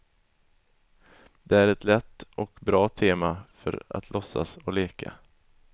Det är ett lätt och bra tema för att låtsas och leka.